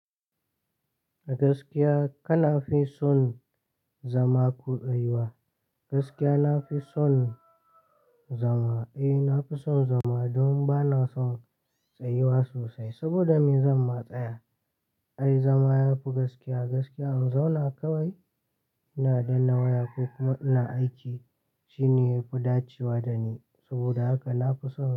Gaskiya kana fi son zama ko tsayuwa? Gaskiya na fi son zama, eh na fi son zama don ba na son tsayiwa sosai. Saboda me? Zan ma tsaya, ai zama yafi gaskiya. Gaskiya in zauna kawai ina danna waya kuma ina aiki shine yafi dacewa dani. Saboda haka na fi son.